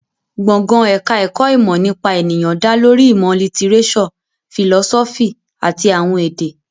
Gbọ̀ngàn ẹ̀ka ẹ̀kọ́ ìmọ̀ nípa ènìyàn dá lórí ìmọ̀ lítíréṣọ̀, fìlọ́sọ́fì àti àwọn èdè